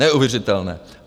Neuvěřitelné!